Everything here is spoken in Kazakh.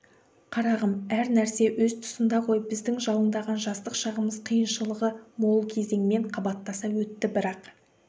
қарағым әр нәрсе өз тұсында ғой біздің жалындаған жастық шағымыз қиыншылығы мол кезеңмен қабаттаса өтті бірақ